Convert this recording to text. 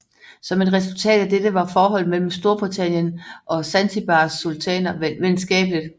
Som et resultat af dette var forholdet mellem Storbritannien og Zanzibars sultaner venskabeligt